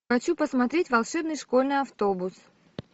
хочу посмотреть волшебный школьный автобус